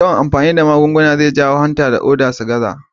Yawan amfani da magunguna zai jawo hanta da ƙoda su gaza.